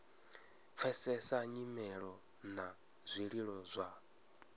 pfesesa nyimelo na zwililo zwa